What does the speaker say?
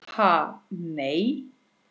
Ha nei.